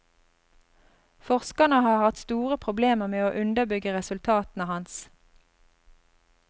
Forskerne har hatt store problemer med å underbygge resultatene hans.